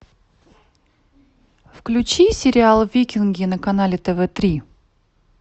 включи сериал викинги на канале тв три